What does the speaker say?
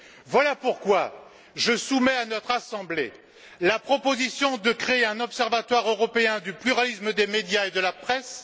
Voilà pourquoi je soumets à notre Assemblée la proposition de créer un observatoire européen du pluralisme des médias et de la presse.